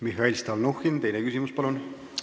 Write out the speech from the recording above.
Mihhail Stalnuhhin, teine küsimus, palun!